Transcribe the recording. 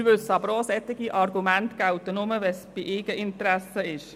Wir wissen aber auch, dass solche Argumente nur gelten, wenn sie im Eigeninteresse liegen.